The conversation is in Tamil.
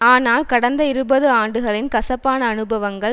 ஆனால் கடந்த இருபது ஆண்டுகளின் கசப்பான அனுபவங்கள்